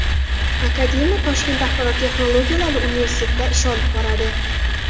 Akademiya Toshkent axborot texnologiyalari universitetida ish olib boradi.